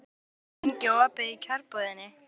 Mortan, hvað er lengi opið í Kjörbúðinni?